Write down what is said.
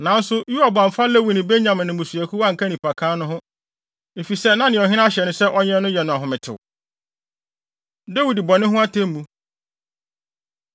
Nanso Yoab amfa Lewi ne Benyamin mmusuakuw anka nnipakan no ho, efisɛ na nea ɔhene ahyɛ no sɛ ɔnyɛ no yɛ no ahometew. Dawid Bɔne Ho Atemmu